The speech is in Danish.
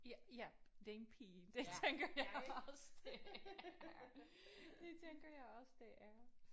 Ja ja det er en pige det tænker jeg også det er. Det tænker jeg også det er